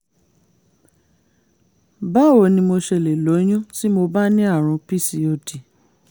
báwo ni mo ṣe lè lóyún tí mo bá ní àrùn pcod?